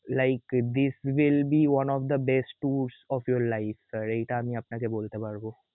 like this will be one of the best tours of your life sir এইটা আমি আপনাকে বলতে পারব.